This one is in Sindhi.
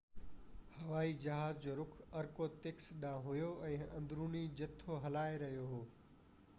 هوائي جهاز جو رُخ ارکوتسڪ ڏانهن هو ۽ اندروني جٿو هلائي رهيو هو